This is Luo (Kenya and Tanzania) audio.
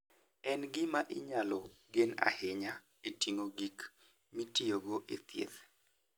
En gima inyalo gen ahinya e ting'o gik mitiyogo e thieth.